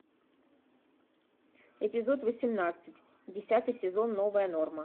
эпизод восемнадцать десятый сезон новая норма